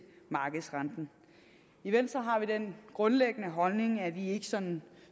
markedsrenten i venstre har vi den grundlæggende holdning at vi ikke sådan